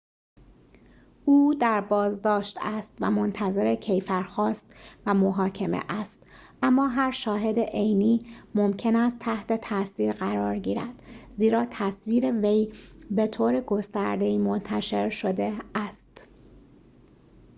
او در بازداشت است و منتظر کیفرخواست و محاکمه است اما هر شاهد عینی ممکن است تحت تاثیر قرار گبرد زیرا تصویر وی به‌طور گسترده‌ای منتشر شده است